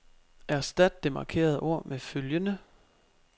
Erstat det markerede ord med følgende.